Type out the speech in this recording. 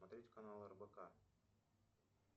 смотреть канал рбк